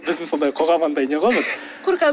біздің қоғам андай не ғой бір қорқады